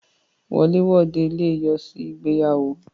Wọlé wode le yọ sí ìgbéyàwó.